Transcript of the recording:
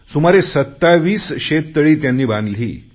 सुमारे सत्तावीस शेततळी त्यांनी बांधली